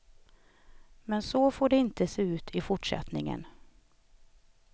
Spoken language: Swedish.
Men så får det inte se ut i fortsättningen.